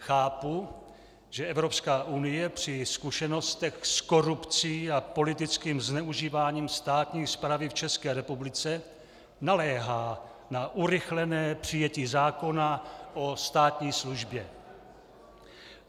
Chápu, že Evropská unie při zkušenostech s korupcí a politickým zneužíváním státní správy v České republice naléhá na urychlené přijetí zákona o státní službě.